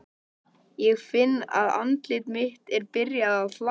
Sigríður: En þið haldið ótrauðir áfram?